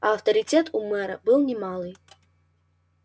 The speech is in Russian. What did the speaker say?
а авторитет у мэра был не малый